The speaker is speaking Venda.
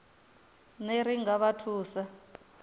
ner i nga vha thusa